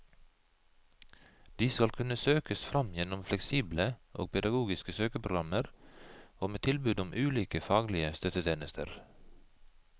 De skal kunne søkes fram gjennom fleksible og pedagogiske søkeprogrammer og med tilbud om ulike faglige støttetjenester.